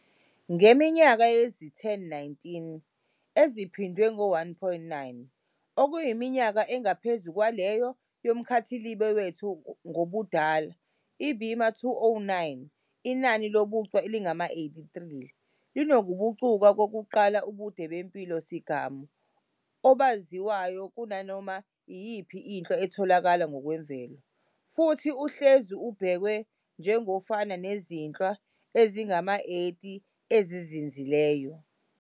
Ngeminyaka eyizi-1019 eziphindwe ngo-1.9, okuyiminyaka engaphezu kwaleyo yomkhathilibe wethu ngobudala, iBima-209, inani lobuchwe elingama-83, linokubucuka kokuqala obude bempilo-sigamu obaziwayo kunanoma iyipho inhlwa etholakala ngokwemvelo, futhi uhlezi ubhekwa njengofana nezinhlwa ezingama-80 ezizinzileyo.